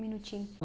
Minutinho.